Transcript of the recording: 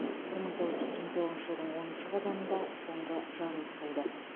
бір мың тоғыз жүз сексен тоғызыншы жылдың оныншы қазанында соңғы жарылыс болды